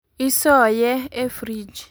Isoye e frij